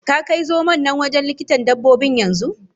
Ka Kai zomon na wajen likitan Dabbobin Yan zu.